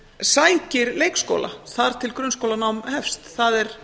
sækir leikskóla þar til grunnskólanám hefst það er